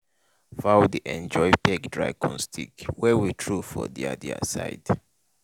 fowl dey enjoy peck dry corn stick wey we throw for their their side.